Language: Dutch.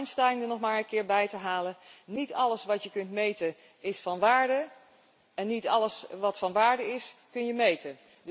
Om Einstein er nog maar eens bij te halen niet alles wat je kunt meten, is van waarde en niet alles wat van waarde is, kun je meten.